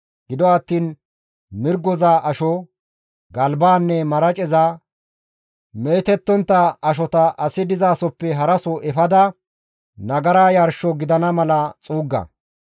Gido attiin mirgoza asho, galbaanne maraceza, meetettontta ashota asi dizasohoppe haraso efada nagara yarsho gidana mala xuugga;